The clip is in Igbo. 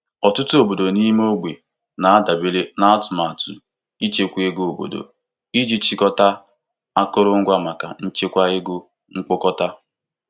Ọtụtụ obodo ime ogbe na-adabere na atụmatụ ichekwa ego obodo iji chịkọta akụrụngwa maka nchekwa ego mkpokọta.